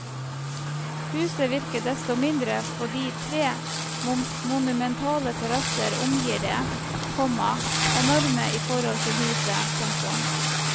Huset virker desto mindre fordi tre monumentale terrasser omgir det, komma enorme i forhold til huset. punktum